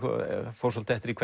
fór svolítið eftir því